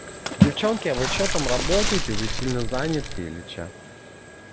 девчонки вы что там работаете вы сильно занята или что